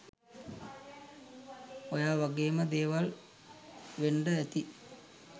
ඔය වගේම දේවල් වෙන්ඩ ඇති